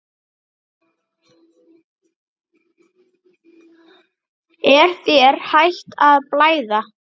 Er þér hætt að blæða?